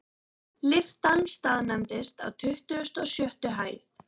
Lyftan staðnæmdist á tuttugustu og sjöttu hæð.